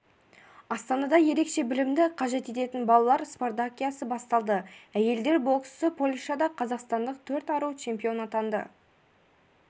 астанада ерекше білімді қажет ететін балалар спартакиадасы басталды әйелдер боксы польшада қазақстандық төрт ару чемпион атанды